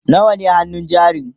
nawa ne hannun jarin?